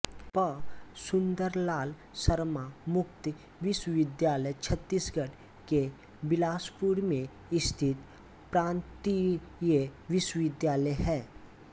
पं सुन्दरलाल शर्मा मुक्त विश्वविद्यालय छत्तीसगढ़ के बिलासपुर में स्थित प्रान्तीयविश्वविद्यालय है